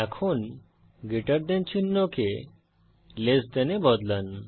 এখন greater than চিহ্নকে less than এ বদলান